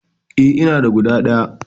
E, ina da guda ɗaya.